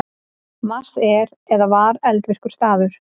Mars er eða var eldvirkur staður.